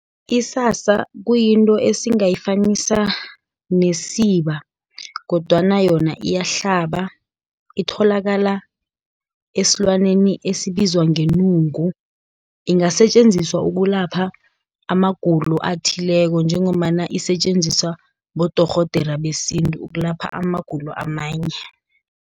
Isasa kuyinto esingayifanisa nesiba, kodwana yona iyahlaba. Itholakala esilwaneni esibizwa ngenungu, ingasetjenziswa ukulapha amagulo athileko, njengombana isetjenziswa bodorhodera besintu, ukulapha amagulo amanye.